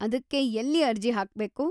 ಅದಕ್ಕೆ ಎಲ್ಲಿ ಅರ್ಜಿ ಹಾಕ್ಬೇಕು?